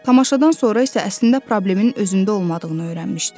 Tamaşadan sonra isə əslində problemin özündə olmadığını öyrənmişdi.